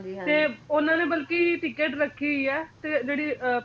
ਤੇ ਉਹਨਾਂ ਨੇ ਬਲਕਿ ticket ਰੱਖੀ ਹੋਈ ਐ ਤੇ ਜਿਹੜੀ ਅਹ